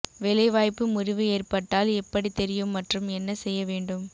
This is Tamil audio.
வேலைவாய்ப்பு முறிவு ஏற்பட்டால் எப்படி தெரியும் மற்றும் என்ன செய்ய வேண்டும்